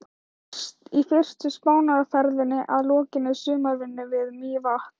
Í fyrstu Spánarferðinni að lokinni sumarvinnu við Mývatn.